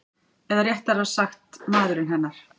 Eða réttara sagt maðurinn hennar.